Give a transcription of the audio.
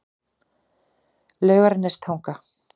Laugarnestanga